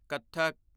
Kathak